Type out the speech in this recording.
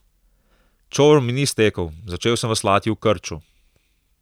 Čoln mi ni stekel, začel sem veslati v krču.